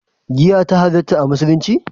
Giya ta halatta a musulunci?